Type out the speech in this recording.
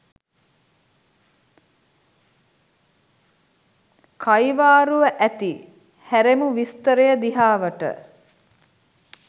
කයිවාරුව ඇති හැරෙමු විස්තරය දිහාවට.